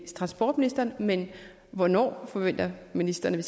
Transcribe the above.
transportministeren men hvornår forventer ministeren